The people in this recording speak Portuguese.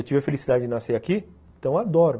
Eu tive a felicidade de nascer aqui, então adoro.